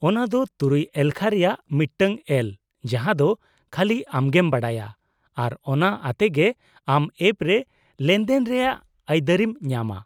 -ᱚᱱᱟ ᱫᱚ ᱖ ᱮᱞᱠᱷᱟ ᱨᱮᱭᱟᱜ ᱢᱤᱫᱴᱟᱝ ᱮᱞ ᱡᱟᱦᱟᱸ ᱫᱚ ᱠᱷᱟᱹᱞᱤ ᱟᱢᱜᱮᱢ ᱵᱟᱰᱟᱭᱟ, ᱟᱨ ᱚᱱᱟ ᱟᱛᱮᱜᱮ ᱟᱢ ᱮᱯ ᱨᱮ ᱞᱮᱱᱫᱮᱱ ᱨᱮᱭᱟᱜ ᱟᱹᱭᱫᱟᱹᱨᱤᱢ ᱧᱟᱢᱟ ᱾